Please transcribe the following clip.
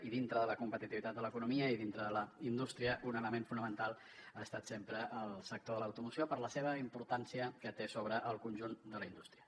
i dintre de la competitivitat de l’economia i dintre de la indústria un element fonamental ha estat sempre el sector de l’automoció per la importància que té sobre el conjunt de la indústria